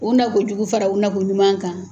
U nakojugu fara u nakoɲuman kan.